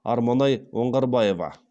арманай оңғарбаева